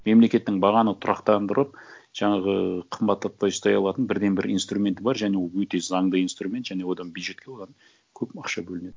мемлекеттің бағаны тұрақтандырып жаңағы қымбаттатпай ұстай алатын бірден бір инструменті бар және ол өте заңды инструмент және одан бюджетке оған көп ақша бөлінеді